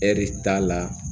Ɛri t'a la